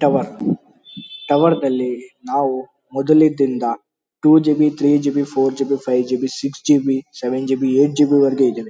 Tower tower ನಲ್ಲಿ ನಾವು ಮೊದಲಿನಿಂದ two G B three G B four G B five G B six G B seven G B eight G B ವರ್ಗೂ ಇದೆ.